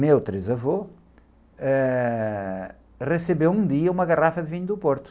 meu trisavô, eh, recebeu um dia uma garrafa de vinho do Porto.